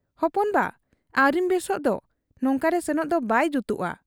ᱦᱚᱯᱚᱱ ᱵᱟ ᱟᱹᱣᱨᱤᱢ ᱵᱮᱥᱚᱜ ᱫᱚ ᱾ ᱱᱚᱝᱠᱟᱨᱮ ᱥᱮᱱᱚᱜ ᱫᱚ ᱵᱟᱭ ᱡᱩᱛᱚᱜ ᱟ ᱾